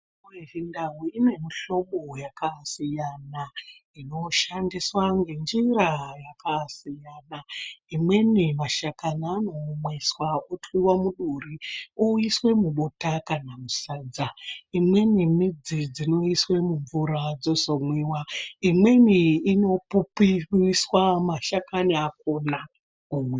....yechindau inemihlobo yakasiyana inoshandiswa ngenjira dzakasiyana. Imweni mashakani anoomeswa otwiwa muduri oiswe mubota kana musadza. Imweni midzi dzinoiswe mumvura dzozomwiwa, imweni inopupumiswe mashakani akona, womwa.